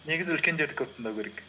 негізі үлкендерді көп тыңдау керек